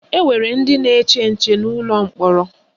Enwere ndị na-eche nche n'ụlọ mkpọrọ